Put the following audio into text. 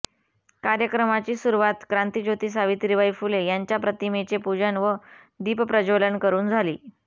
कार्यक्रमाची सुरुवात क्रांतीज्योती सावित्रीबाई फुले यांच्या प्रतिमेचे पूजन व दीपप्रज्वलन करून झाली